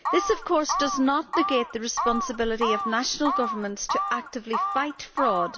Of course, this does not negate the responsibility of national governments actively to fight fraud.